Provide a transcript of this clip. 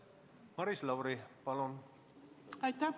Maris Lauri, palun!